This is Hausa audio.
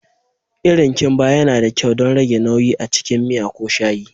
Irin kimba yana da kyau don rage nauyi a cikin miya ko shayi.